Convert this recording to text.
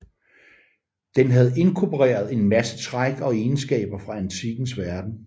Den havde indkorporet en masse træk og egenskaber fra antikkens verden